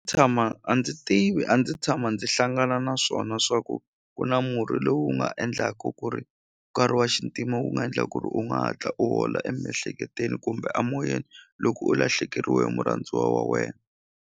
Tshama a ndzi tivi a ndzi tshama ndzi hlangana na swona swa ku ku na murhi lowu nga endlaku ku ri nkarhi wa xintima wu nga ndla ku ri u nga hatla u hola emiehleketweni kumbe amoyeni loko u lahlekeriwe hi murhandziwa wa wena.